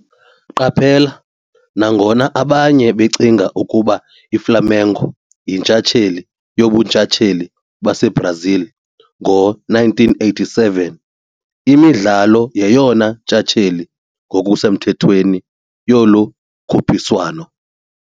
Qaphela- nangona abanye becinga ukuba iFlamengo yintshatsheli yoBuntshatsheli baseBrazil ngo-1987, iMidlalo yeyona ntshatsheli ngokusemthethweni yolu khuphiswano.